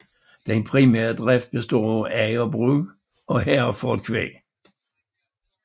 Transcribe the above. Den primære drift består af agerbrug og Herefordkvæg